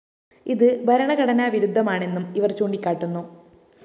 ഇത് ഭരണഘടനാവിരുദ്ധമാണെന്നും ഇവര്‍ ചൂണ്ടിക്കാട്ടുന്നു